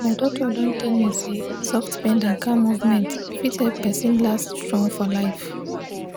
my doctor don tell me say soft bend and calm movement fit help person last strong for life.